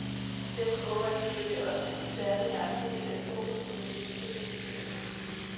Derfor håber jeg selvfølgelig også, at koncerten i aften vil sætte fokus på min kaliber som guitarist.